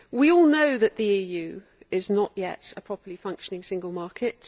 We all know that the EU is not yet a properly functioning single market